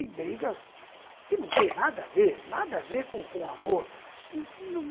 E brigas que não têm nada a ver, nada a ver com com amor.